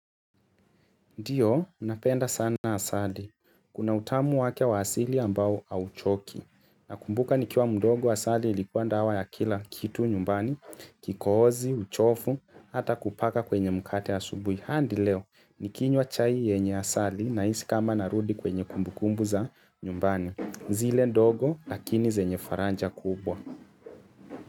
Ndio, unapenda sana asali. Kuna utamu wake wasili ambao hauchoki. Na kumbuka ni kiwa mdogo asali ilikuwa dawa ya kila kitu nyumbani, kikohozi, uchofu, hata kupaka kwenye mkate asubui. Hadi leo, nikinywa chai yenye asali na isi kama narudi kwenye kumbu kumbu za nyumbani. Zile ndogo, lakini zenye faranja kubwa.